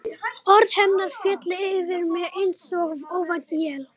Orð hennar féllu yfir mig einsog óvænt él.